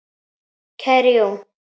Kæri Jón.